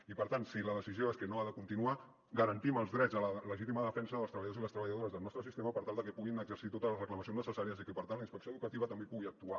i per tant si la decisió és que no ha de continuar garantim els drets a la legítima defensa dels treballadors i les treballadores del nostre sistema per tal de que puguin exercir totes les reclamacions necessàries i que per tant la inspecció educativa també hi pugui actuar